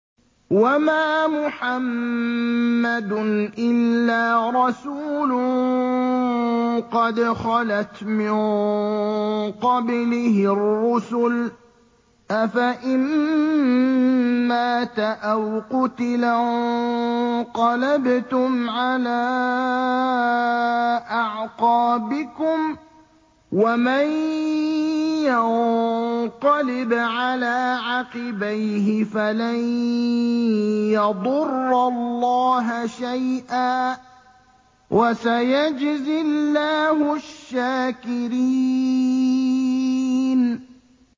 وَمَا مُحَمَّدٌ إِلَّا رَسُولٌ قَدْ خَلَتْ مِن قَبْلِهِ الرُّسُلُ ۚ أَفَإِن مَّاتَ أَوْ قُتِلَ انقَلَبْتُمْ عَلَىٰ أَعْقَابِكُمْ ۚ وَمَن يَنقَلِبْ عَلَىٰ عَقِبَيْهِ فَلَن يَضُرَّ اللَّهَ شَيْئًا ۗ وَسَيَجْزِي اللَّهُ الشَّاكِرِينَ